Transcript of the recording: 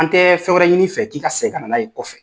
An tɛ fɛn wɛrɛ ɲini i fɛ k'i ka segin ka na n'a ye kɔfɛ.